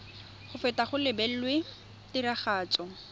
go feta go lebilwe tiragatso